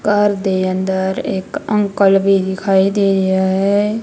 ਘਰ ਦੇ ਅੰਦਰ ਇਕ ਅੰਕਲ ਵੀ ਦਿਖਾਈ ਦੇ ਰਿਹਾ ਏ।